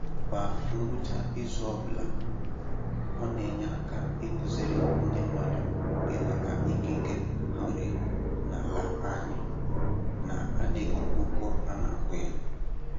Kwa ngwụcha izu ọbụla, ọ na-enye aka ịkụziri ndị mmadụ ịghọta ikike ha nwere n'ala anyị na-adịghị ụgwọ a na-akwụ ya